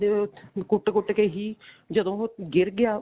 ਵਿਚਾਰਾ ਕੁੱਟ ਕੁੱਟ ਕੇ ਹੀ ਜਦੋਂ ਉਹ ਗਿਰ ਗਿਆ